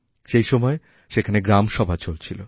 সেই সময়েসেখানে গ্রামসভা চলছিল